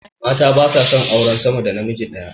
Mata ba sa auren sama da namiji daya